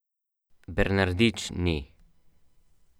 Zakaj, je začela opisovati s številkami.